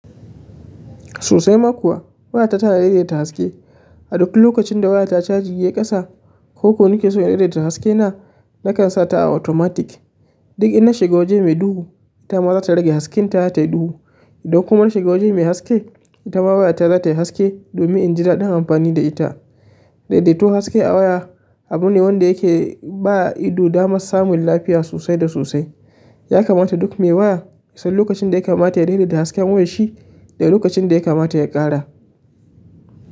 Sosai ma kuwa, waya ta tana daidaita haske. A duk lokacin da wayata caji yayi ƙasa ko ko nike so in daidaita haske na, nakan sa ta a automatic. Duk in na shiga waje mai duhu, ita ma za ta rage haske ta tayi duhu. Idan kuma na shiga waje mai haske, ita ma waya ta za ta yi haske domin inji daɗi amfani da ita. Daidaito haske a waya abu ne wanda yake ba ido damar samun lafiya sosai da sosai. Ya kamata duk mai waya ya san lokacin da ya kamata ya daidaita hasken wayarshi da lokacin da ya kamata ya ƙara.